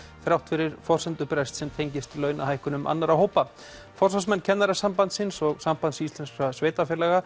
þrátt fyrir forsendubrest sem tengist launahækkunum annarra hópa forsvarsmenn Kennarasambandsins og Sambands íslenskra sveitarfélaga